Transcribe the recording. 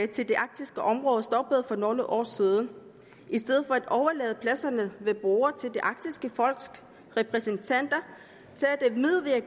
til det arktiske område stoppede for nogle år siden og i stedet for at overlade pladserne ved bordet til de arktiske folks repræsentanter